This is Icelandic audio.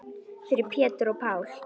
Fyrir Pétur og Pál.